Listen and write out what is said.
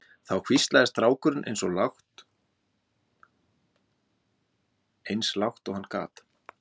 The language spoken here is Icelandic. Þá hvíslaði strákurinn eins og lágt og hann gat